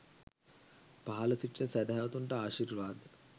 පහළ සිටින සැදැහැවතුන්ට ආශිර්වාද